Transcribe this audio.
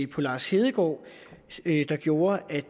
på lars hedegaard der gjorde at